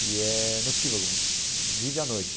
e é notívago, vive à noite.